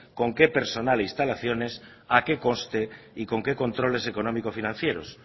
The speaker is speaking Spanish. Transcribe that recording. con qué personal e instalaciones a qué coste y con qué controles económico financieros